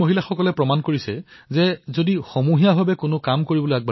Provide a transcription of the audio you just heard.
এই মহিলাসকলে কাদীপুৰৰ আত্ম সহায়ক গোটৰ সৈতে জড়িত হৈ চেণ্ডেল নিৰ্মাণ কৰিবলৈ শিকিলে